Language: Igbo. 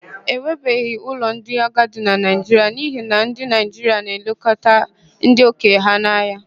E nwekabeghị ụlọ ndị agadi na Naịjiria n'ihi na ndị Naịjiria na-elekọta ndị okenye ha anya.